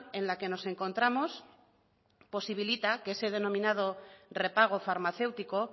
en la que nos encontramos posibilita que ese denominado repago farmacéutico